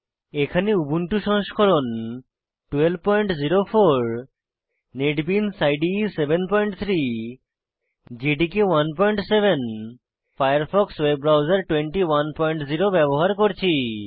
এখানে উবুন্টু সংস্করণ 1204 NetBeans IDE 73 JDK 17 Firefox web browser 210 ব্যবহার করছি